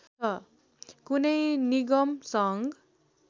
कुनै निगम सङ्घ